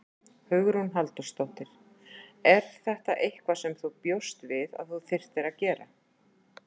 Hugrún Halldórsdóttir: Er þetta eitthvað sem þú bjóst við að þú þyrftir að gera?